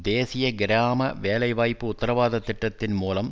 தேசிய கிராம வேலை வாய்ப்பு உத்தரவாதத்திட்டத்தின் மூலம்